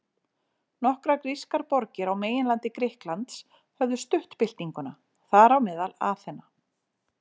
Nokkrar grískar borgir á meginlandi Grikklands höfðu stutt byltinguna, þar á meðal Aþena.